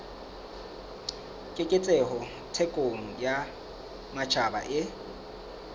keketseho thekong ya matjhaba e